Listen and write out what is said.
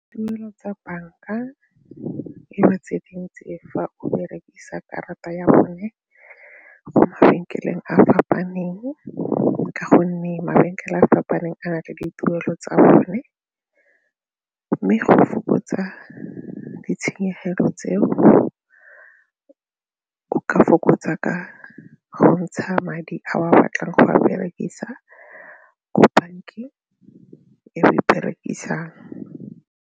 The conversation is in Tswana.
Tuelo tsa banka e ba tse dintsi fa o berekisa karata ya bone go mabenkeleng a a fapaneng ka gonne mabenkele a fapaneng a na le dituelo tsa bone mme go fokotsa ditshenyegelo tseo ka fokotsa ka go ntsha madi a o a batlang go a berekisa ko bankeng e o e berekisang.